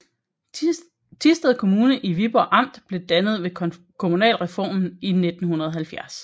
Thisted Kommune i Viborg Amt blev dannet ved kommunalreformen i 1970